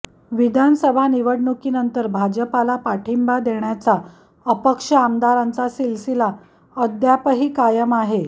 विधानसभा निवडणुकीनंतर भाजपला पाठिंबा देण्याचा अपक्ष आमदारांचा सिलसिला अद्यापही कायम आहे